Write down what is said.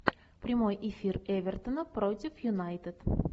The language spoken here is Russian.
прямой эфир эвертона против юнайтед